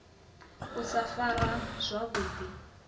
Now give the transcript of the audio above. u sa farwa zwavhu ḓi